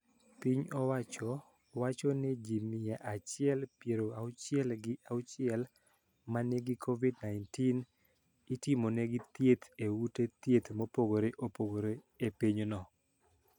Piny owacho wacho ni ji mia achiel pier auchiel gi achiel ma nigi Covid-19 itimonegi thieth e ute thieth mopogore opogore e pinyno.